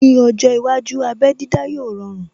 Ní ọjọ́ iwájú, abé dídá yóò rọrun